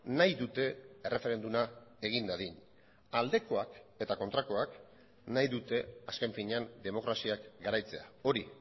nahi dute erreferenduma egin dadin aldekoak eta kontrakoak nahi dute azken finean demokraziak garaitzea hori